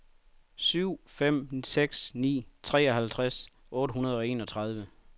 syv fem seks ni treoghalvtreds otte hundrede og enogtredive